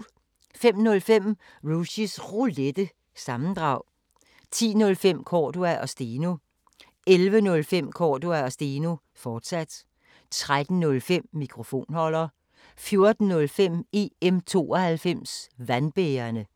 05:05: Rushys Roulette – sammendrag 10:05: Cordua & Steno 11:05: Cordua & Steno, fortsat 13:05: Mikrofonholder 14:05: EM '92 Vandbærerne